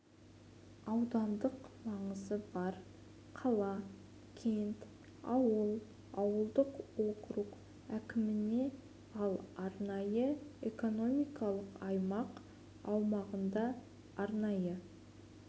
аудандық маңызы бар қала кент ауыл ауылдық округ әкіміне ал арнайы экономикалық аймақ аумағында арнайы